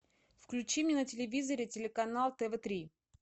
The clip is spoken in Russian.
включи мне на телевизоре телеканал тв три